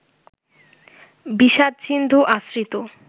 বিষাদ-সিন্ধু আশ্রিত